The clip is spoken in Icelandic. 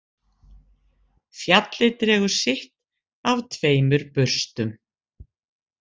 Fjallið dregur sitt af tveimur burstum